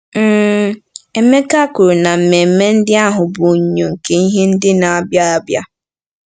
um Emeka kwuru na mmemme ndị ahụ bụ “onyinyo nke ihe ndị na-abịa abịa.”